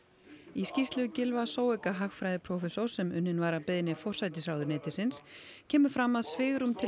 í skýrslu Gylfa hagfræðiprófessors sem unnin var að beiðni forsætisráðuneytisins kemur fram að svigrúm til